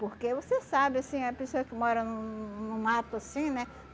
Porque você sabe, assim, a pessoa que mora no no mato, assim, né?